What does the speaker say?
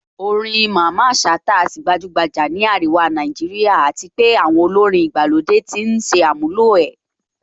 Orin Mamman Shata á sì gbajúgbajà ní àríwá Nàìjíríà àti pé àwọn olórin ìgbàlódé ti ń ṣàmúlò ẹ̀